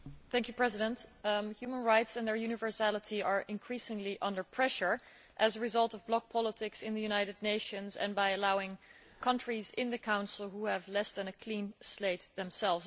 Mr President, human rights and their universality are increasingly under pressure as a result of block politics in the United Nations and because of allowing countries into the Human Rights Council who have less than a clean state themselves.